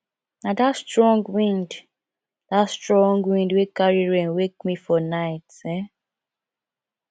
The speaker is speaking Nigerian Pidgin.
na dat strong wind dat strong wind wey carry rain wake me for night um